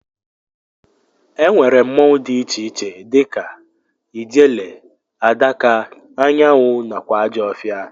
Ennwere mmụọnwu di iche iche dika ijele, adaka, anyanwụ nakwa ajọfia.